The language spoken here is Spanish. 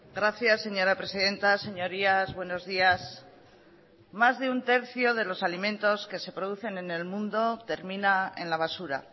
gracias señora presidenta señorías buenos días más de un tercio de los alimentos que se producen en el mundo termina en la basura